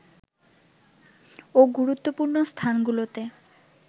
ও গুরুত্বপূর্ণ স্থানগুলোতে